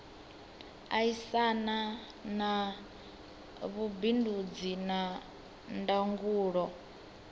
aisana na vhubindudzi na ndangulo